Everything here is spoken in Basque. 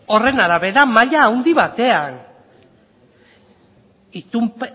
horren arabera maila handi batean